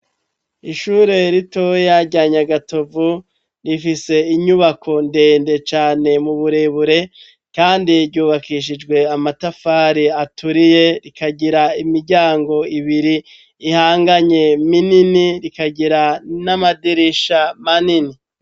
Ishure ritoya rya Nyagatovu rifise inyubako ndende cane mu burebure kandi ryubakishijwe amatafari aturiye, rikagira imiryango ibiri ihanganye minini, rikagira n'amadirisha manini.